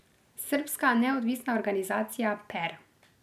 Srbska neodvisna organizacija Per.